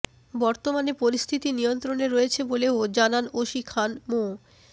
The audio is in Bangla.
বর্তমানে পরিস্থিতি নিয়ন্ত্রণে রয়েছে বলেও জানান ওসি খান মো